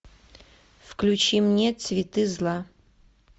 включи мне цветы зла